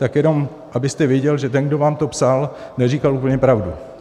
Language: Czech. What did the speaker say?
Tak jenom abyste věděl, že ten, kdo vám to psal, neříkal úplně pravdu.